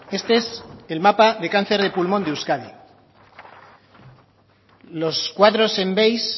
este es el mapa de cáncer de pulmón de euskadi los cuadros en beige